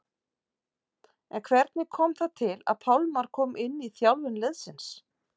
En hvernig kom það til að Pálmar kom inn í þjálfun liðsins?